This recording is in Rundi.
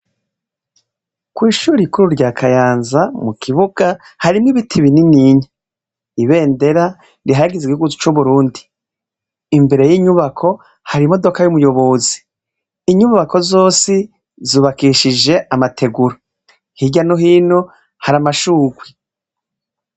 Kwishuri rikuru rya Kayanza mukibuga harimwo ibiti bininiya Ibendera rihayagiza igihugu c'uburundi imbere y'inyubako hari imodoka y'umuyobozi inyubako zosi zubakishijwe amategura hirya no hino hari amashurwe .